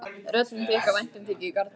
Röddin þykk af væntumþykju í garð bílsins.